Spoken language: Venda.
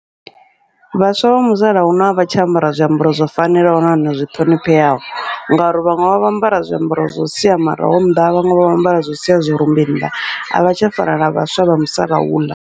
Vhaswa vha musalauno a vha tsha ambara zwiambaro zwo fanelaho nahone zwi ṱhonifheaho, ngauri vhaṅwe vha vho ambara zwiambaro zwo sia maraho nnḓa, vhaṅwe vho ambara zwo siya zwirumbi nnḓa, avha tsha fana na vhaswa vha musalauḽa.